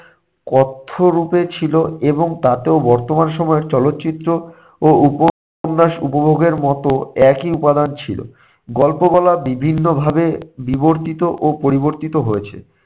কথ্যরূপে ছিল এবং তাতেও বর্তমান সময়ের চলচ্চিত্র ও উপন্যাস উপভোগের মতো একই উপাদান ছিল। গল্প বলা বিভিন্নভাবে বিবর্তিত ও পরিবর্তিত হয়েছে।